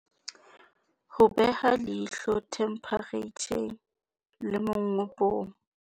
Ho beha leihlo themphereitjhareng le mongobong